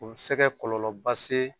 O bi se kɛ kɔlɔlɔ ba se